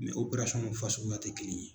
tɛ kelen ye.